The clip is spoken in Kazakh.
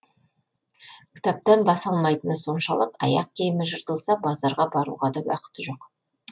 кітаптан бас алмайтыны соншалық аяқ киімі жыртылса базарға баруға да уақыты жоқ